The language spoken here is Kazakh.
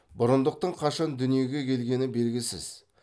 бұрындықтың қашан дүниеге келгені белгісіз